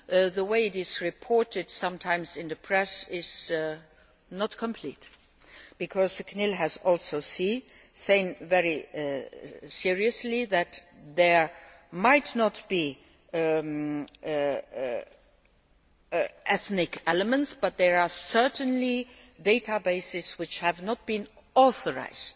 too. The way it is reported sometimes in the press is not complete, because CNIL has also said, very seriously, that there might not be ethnic elements, but there are certainly databases which have not been authorised